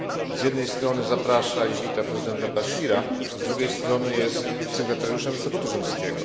Z jednej strony zaprasza i wita prezydenta Bashira, a drugiej strony jest sygnatariuszem statutu rzymskiego.